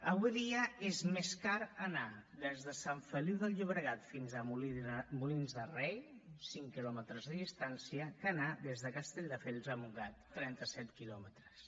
avui dia és més car anar des de sant feliu de llobregat fins a molins de rei cinc quilòmetres de distància que anar des de castelldefels a montgat trenta set quilòmetres